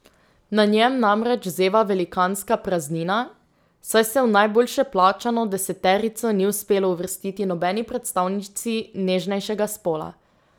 Na njem namreč zeva velikanska praznina, saj se v najboljše plačano deseterico ni uspelo uvrstiti nobeni predstavnici nežnejšega spola.